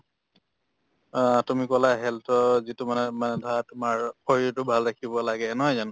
অ, তুমি কলা health ৰ যিটো মানে মানে ধৰা মানে তোমাৰ শৰীৰটো ভাল ৰাখিব লাগে নহয় জানো